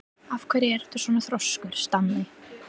Af hverju ertu svona þrjóskur, Stanley?